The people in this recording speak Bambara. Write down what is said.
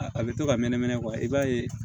A bɛ to ka mɛnɛmɛn i b'a ye